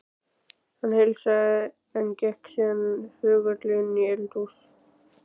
Hann heilsaði, en gekk síðan þögull inn í eldhús.